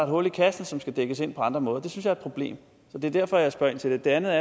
hul i kassen som skal dækkes ind på andre måder det er et problem det er derfor at jeg spørger ind til det det andet